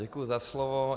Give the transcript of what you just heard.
Děkuji za slovo.